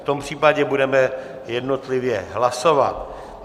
V tom případě budeme jednotlivě hlasovat.